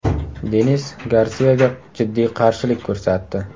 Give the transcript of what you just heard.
Denis Garsiyaga jiddiy qarshilik ko‘rsatdi.